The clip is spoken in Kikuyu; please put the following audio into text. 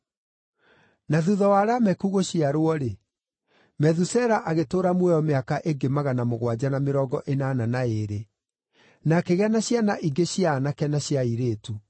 Na thuutha wa Lameku gũciarwo-rĩ, Methusela agĩtũũra muoyo mĩaka ĩngĩ magana mũgwanja na mĩrongo ĩnana na ĩĩrĩ, na akĩgĩa na ciana ingĩ cia aanake na cia airĩtu.